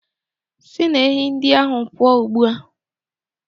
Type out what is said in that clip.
Si na ehi ndị ahụ pụọ ugbu a